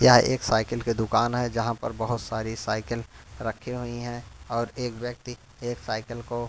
यह एक साइकिल के दुकान है जहां पर बहोत सारी साइकिल रखी हुई है और एक व्यक्ति एक साइकिल को--